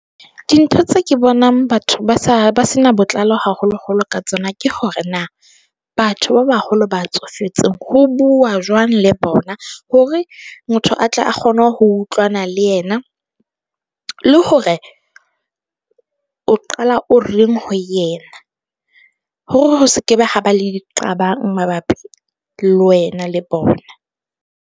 Dintho tse ke bonang batho ba sa ba se na botlalo haholo-holo ka tsona ke hore na. Batho ba baholo ba tsofetseng ho bua jwang le bona hore motho a tle a kgone ho utlwana le yena, le hore o qala o reng ho yena hore ho se ke be ha ba le diqabang mabapi le wena le bona.